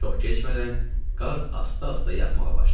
Çox keçmədən qar asta-asta yağmağa başladı.